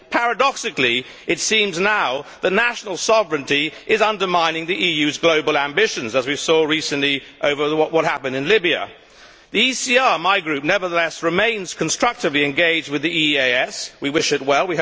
Paradoxically, it now seems that national sovereignty is undermining the EU's global ambitions, as we saw recently over what happened in Libya. The ECR, my group, nevertheless remains constructively engaged with the EEAS. We wish it well.